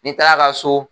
N'i taara ka so